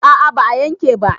a a ba a yanke ba.